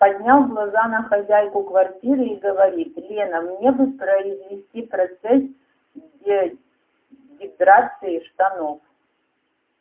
поднял глаза на хозяйку квартиры и говорит лена мне бы произвести процесс дегидратации штанов